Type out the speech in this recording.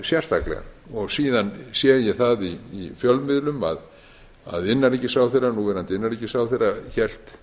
sérstaklega síðan sé ég það í fjölmiðlum að núverandi innanríkisráðherra hélt